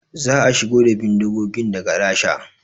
Za a shigo da bindigogin daga Rasha